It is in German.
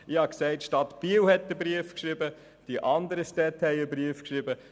Ich habe gesagt, die Stadt Biel habe den Brief geschrieben und die anderen Städte auch.